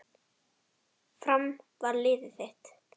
Fram var liðið þitt.